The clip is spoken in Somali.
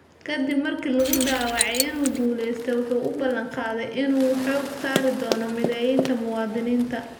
Kadib markii lagu dhawaaqay in uu guuleystay, waxa uu balan qaaday in uu xooga saari doono mideynta muwaadiniinta.